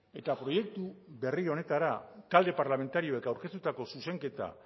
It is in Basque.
eta proiektu berri honetara talde parlamentarioek aurkeztutako zuzenketa